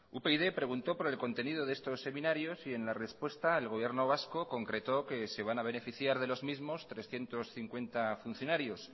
upyd preguntó por el contenido de estos seminarios y en la respuesta el gobierno vasco concretó que se van a beneficiar de los mismos trescientos cincuenta funcionarios